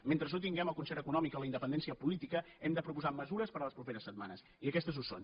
mentre no tinguem el concert econòmic o la independència política hem de proposar mesures per a les properes setmanes i aquestes ho són